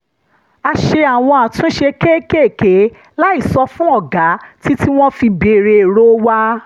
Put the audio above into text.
a ṣe àwọn àtúnṣe kéékèèké láì sọ fún ọ̀gá títí tí wọ́n fi béèrè èrò wa